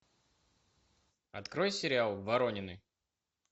открой сериал воронины